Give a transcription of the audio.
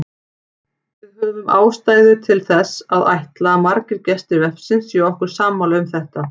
Við höfum ástæðu til að ætla að margir gestir vefsins séu okkur sammála um þetta.